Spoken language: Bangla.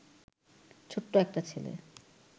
ছোট্ট একটা ছেলে